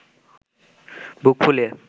বুক ফুলিয়ে